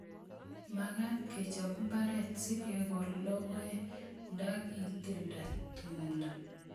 Magat kechop mbaret sikekol logoek ndaki tilda tumdo